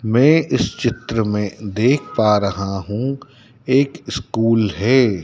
मैं इस चित्र में देख पा रहा हूं एक स्कूल है।